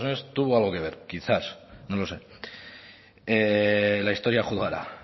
estados unidos tuvo algo que ver quizás no lo sé la historia juzgará